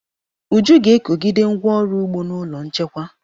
Uju ga-ekogide ngwá ọrụ ugbo n'ụlọ nchekwa.